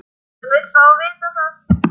Hann vill fá að vita það.